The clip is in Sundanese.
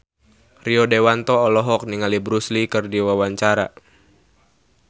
Rio Dewanto olohok ningali Bruce Lee keur diwawancara